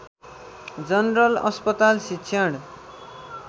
general अस्पताल शिक्षण